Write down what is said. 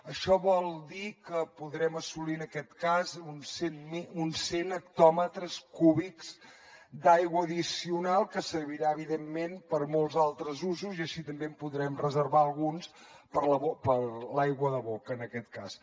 això vol dir que podrem assolir en aquest cas uns cent hectòmetres cúbics d’aigua addicional que serviran evidentment per a molts altres usos i així també en podrem reservar alguns per a l’aigua de boca en aquest cas